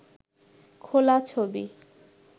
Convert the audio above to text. খোলা ছবি